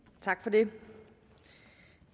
ikke